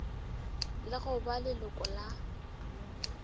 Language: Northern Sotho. le go ba leloko la